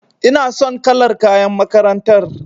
Ina son kalar kayan makarantar.